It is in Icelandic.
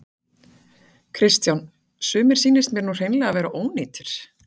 Kristján: Sumir sýnist mér nú hreinlega vera ónýtir?